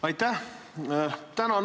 Aitäh!